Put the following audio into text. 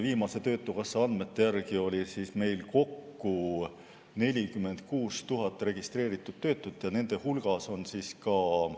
Viimaste töötukassa andmete järgi oli meil kokku 46 000 registreeritud töötut ja nende hulgas on ka ...